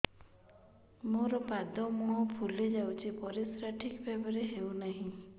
ମୋର ପାଦ ମୁହଁ ଫୁଲି ଯାଉଛି ପରିସ୍ରା ଠିକ୍ ଭାବରେ ହେଉନାହିଁ